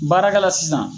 Baarakɛla sisan